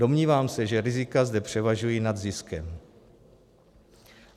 Domnívám se, že rizika zde převažují nad ziskem.